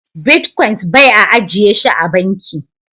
"Bitcoins" bai a ajiye shi a banki.